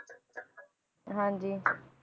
ਹਾਂਜੀ